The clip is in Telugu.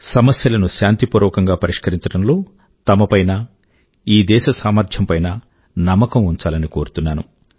సమస్యల ను శాంతి పూర్వకం గా పరిష్కరించడం లో తమ పైన ఈ దేశ సామర్థ్యం పైనా నమ్మకం ఉంచాలని కోరుతున్నాను